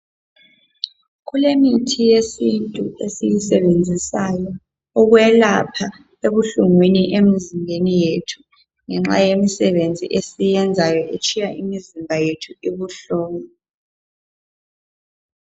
Kulemithi yesintu esiyisebenzisayo ukwelapha ebuhlungwini emzimbeni yethu ngenxa yemisebenzi esiyenzayo etshiya umzimba ubuhlungu.